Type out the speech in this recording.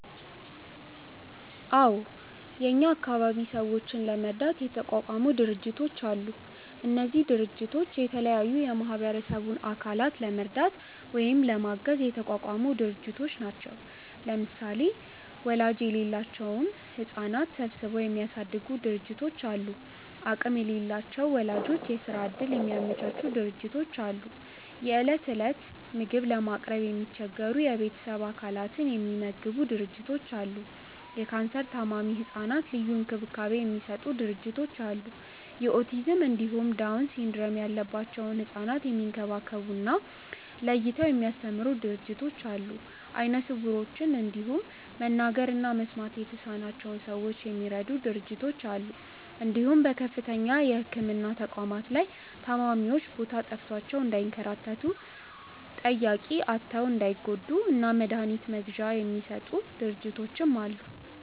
አዎ እኛ አካባቢ ሰዎችን ለመርዳት የተቋቋሙ ድርጅቶች አሉ። እነዚህ ድርጅቶች የተለያዩ የማህበረሰቡን አካላት ለመርዳት ወይም ለማገዝ የተቋቋሙ ድርጅቶች ናቸው። ለምሳሌ ወላጅ የሌላቸውን ህጻናት ሰብስበው የሚያሳድጉ ድርጅቶች አሉ፣ አቅም ለሌላቸው ወላጆች የስራ እድል የሚያመቻቹ ድርጅቶች አሉ፣ የእለት እለት ምግብ ለማቅረብ የሚቸገሩ የቤተሰብ አባላትን የሚመግቡ ድርጅቶች አሉ፣ ለካንሰር ታማሚ ህጻናት ልዩ እንክብካቤ የሚሰጡ ድርጅቶች አሉ፣ የኦቲዝም እንዲሁም ዳውን ሲንድረም ያለባቸውን ህጻናት የሚንከባከቡ እና ለይተው የሚያስተምሩ ድርጅቶች አሉ፣ አይነ ስውሮችን እንዲሁም መናገር እና መስማት የተሳናቸውን ሰዎች የሚረዱ ድርጅቶች አሉ እንዲሁም በከፍተኛ የህክምና ተቋማት ላይ ታማሚዎች ቦታ ጠፍቷቸው እንዳይንከራተቱ፣ ጠያቂ አጥተው እንዳይጎዱ እና መድሀኒት መግዣ የሚሰጡ ድርጅቶችም አሉ።